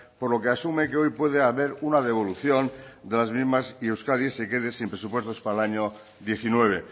por lo que asume que hoy puede haber una devolución de las mismas y euskadi se quede sin presupuestos para el año diecinueve